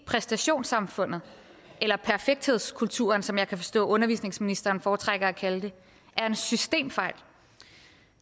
præstationssamfundet eller perfekthedskulturen som jeg kan forstå undervisningsministeren foretrækker at kalde det er en systemfejl